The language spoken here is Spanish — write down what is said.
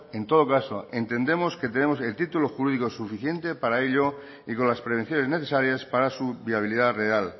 en todo caso entendemos que tenemos el título jurídico suficiente para ello y con las prevenciones necesarias para su viabilidad real